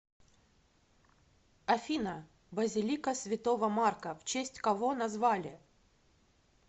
афина базилика святого марка в честь кого назвали